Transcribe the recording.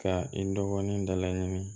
Ka i dɔgɔnin da laɲini